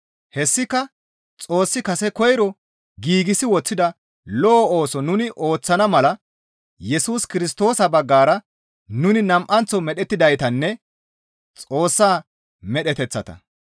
Hessika Xoossi kase koyro giigsi woththida lo7o ooso nuni ooththana mala Yesus Kirstoosa baggara nuni nam7anththo medhettidaytanne Xoossa medheteththata.